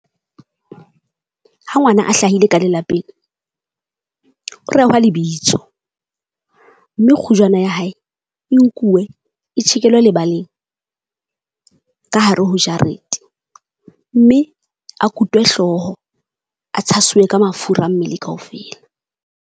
Ha ngwana a hlahile ka lelapeng, o rehwa lebitso mme kgujwana ya hae e nkuwe e tjhekelwe lebaleng ka hare ho jarete. Mme a kutwe hlooho a tshasuwe ka mafura mmele kaofela.